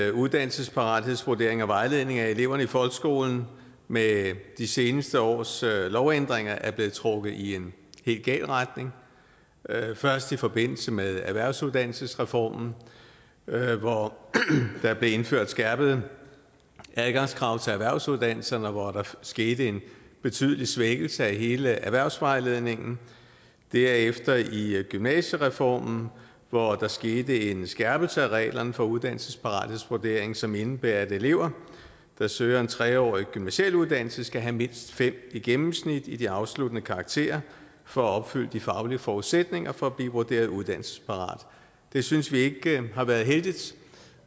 at uddannelsesparathedsvurderingen og vejledningen af eleverne i folkeskolen med de seneste års lovændringer er blevet trukket i en helt gal retning først i forbindelse med erhvervsuddannelsesreformen hvor der blev indført skærpede adgangskrav til erhvervsuddannelserne og hvor der skete en betydelig svækkelse af hele erhvervsvejledningen derefter i i gymnasiereformen hvor der skete en skærpelse af reglerne for uddannelsesparathedsvurderingen som indebærer at elever der søger en tre årig gymnasial uddannelse skal have mindst fem i gennemsnit i de afsluttende karakterer for at opfylde de faglige forudsætninger for at blive vurderet uddannelsesparate det synes vi ikke har været heldigt